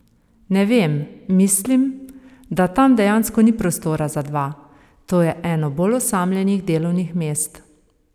Ne vem, mislim, da tam dejansko ni prostora za dva, to je eno bolj osamljenih delovnih mest.